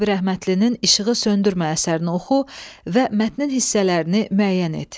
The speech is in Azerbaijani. Sabir Əhmədlinin İşığı söndürmə əsərini oxu və mətnin hissələrini müəyyən et.